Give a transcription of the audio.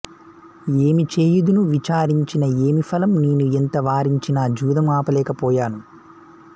ఏమి చేయుదును విచారించిన ఏమి ఫలం నేను ఎంత వారించినా జూదం ఆపలేక పోయాను